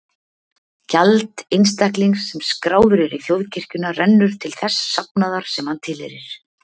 Gjald einstaklings sem skráður er í þjóðkirkjuna rennur til þess safnaðar sem hann tilheyrir.